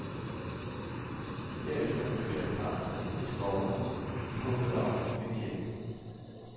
Derefter bevæger parret sig ind i skovene i håbet om at finde hjem.